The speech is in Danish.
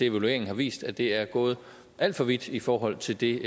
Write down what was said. evalueringen viste at det er gået alt for vidt i forhold til det